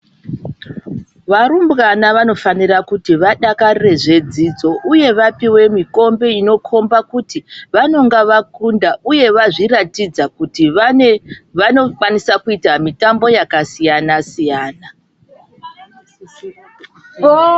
Varumbwana vanofanira kuti vadakarire zvedzidzo, uye vapiwe mikombe inokhomba kuti vanonga vakunda, uye vazviratidza kuti vanokwanisa kuita mitambo yakasiyana siyana.